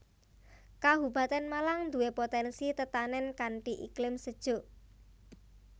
Kabupatèn Malang nduwé potènsi tetanèn kanthi iklim sejuk